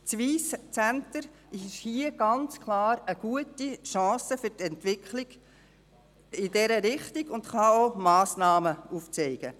Das Wyss Centre ist hier ganz klar eine gute Chance für die Entwicklung in diese Richtung und kann auch Massnahmen aufzeigen.